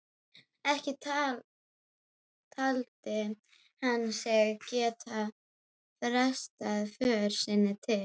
Ekki taldi hann sig geta frestað för sinni til